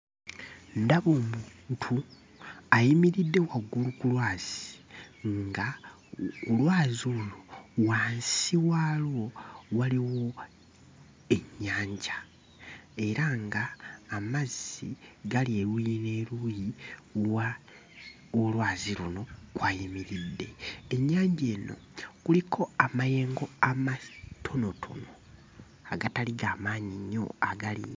Ndaba omuntu ayimiridde waggulu ku lwazi ng'olwazi olwo wansi waalwo waliwo ennyanja era ng'amazzi gali eruuyi n'eruuyi w'olwazi luno w'ayimiridde. Ennyanja eno kuliko amayengo amatonotono agatali ga maanyi nnyo agali...